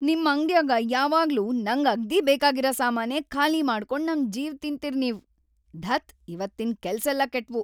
ನಿಮ್‌ ಅಂಗ್ಡ್ಯಾಗ ಯಾವಾಗ್ಲೂ ನಂಗ ಅಗ್ದೀ ಬೇಕಾಗಿರ ಸಾಮಾನೇ ಖಾಲಿ ಮಾಡ್ಕೊಂಡ್‌ ನಮ್ ಜೀವ್‌ ತಿನ್ತೀರ್ ನೀವ್..ಧತ್..‌ ಇವತ್ತಿನ್ ಕೆಲ್ಸೆಲ್ಲ ಕೆಟ್ವು.